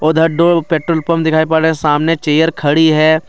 उधर दूर petrol pump दिखाई दे रहा है सामने चेयर खड़ी है।